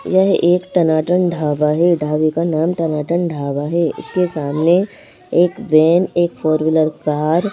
यह एक टनाटन ढावा है ढावे का नाम टनाटन ढावा है इसके सामने एक वैन एक फोर व्हीलर कार --